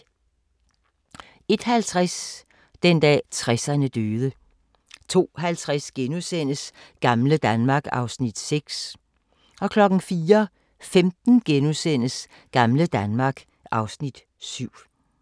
01:50: Den dag 60'erne døde 02:50: Gamle Danmark (Afs. 6)* 04:15: Gamle Danmark (Afs. 7)*